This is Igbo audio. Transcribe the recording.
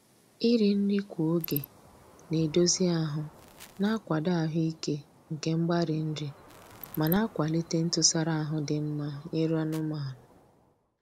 Iri nri kwa oge na-edozi ahụ na-akwado ahụike nke mgbari nri, ma na-akwalite ntụsara ahụ dị mma nyere anụmanụ.